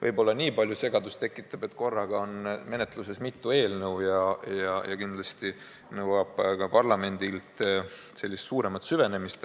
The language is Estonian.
Võib-olla nii palju segadust tekitab, et korraga on menetluses mitu eelnõu, kindlasti see nõuab parlamendilt sügavamat süvenemist.